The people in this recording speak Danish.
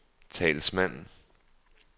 talsmand